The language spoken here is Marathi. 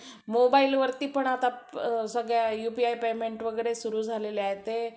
mobile वरती पण आता सगळ्याUPI payment वगैरे सुरु झालेले आहे ते.